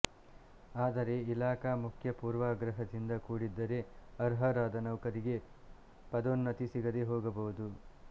ಆದರೆ ಇಲಾಖಾ ಮುಖ್ಯ ಪೂರ್ವಾಗ್ರಹದಿಂದ ಕೂಡಿದ್ದರೆ ಅರ್ಹರಾದ ನೌಕರಿಗೆ ಪದೋನ್ನತಿ ಸಿಗದೆ ಹೋಗಬಹುದು